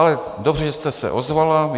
Ale dobře, že jste se ozvala.